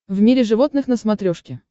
в мире животных на смотрешке